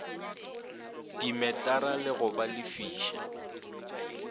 dimetara le go ba lefiša